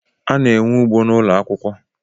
A na-enwe ugbo n’ụlọakwụkwọ